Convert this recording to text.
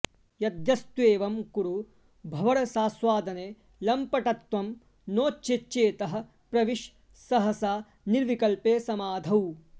यद्यस्त्वेवं कुरु भवरसास्वादने लम्पटत्वं नो चेच्चेतः प्रविश सहसा निर्विकल्पे समाधौ